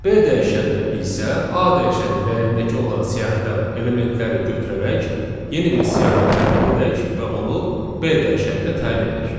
B dəyişənnə isə a dəyişənin dəyərindəki olan siyahıdan elementləri götürərək yeni bir siyahı tərtib edək və onu b dəyişənnə təyin edək.